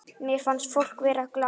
Mér fannst fólk vera glatt.